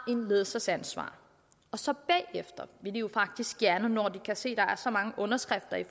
ledelsesansvar og så bagefter vil de jo faktisk gerne når de kan se at der er så mange underskrifter